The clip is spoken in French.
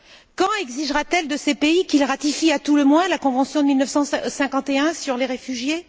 Quand exigera t elle de ces pays qu'ils ratifient à tout le moins la convention de 1951 sur les réfugiés?